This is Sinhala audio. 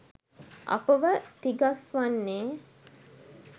අපව තිගස්‌වන්නේ